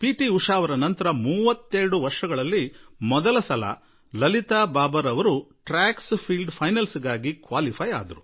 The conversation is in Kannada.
ಉಷಾ ನಂತರ ಮೊದಲ ಸಲ Lalita Babar track fields final ಗೆ ಅರ್ಹತೆ ಪಡೆದರು